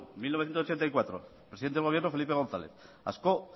primero mil novecientos ochenta y cuatro presidente del gobierno felipe gonzález ascó